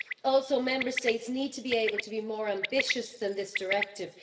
Also, Member States need to be able to be more ambitious than this directive.